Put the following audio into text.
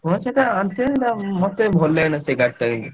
ହାଁ ସେ ଆଣିଥିଲେ ମତେ ଭଲଲାଗିଲା ନି ସେ ଗାଡିଟା।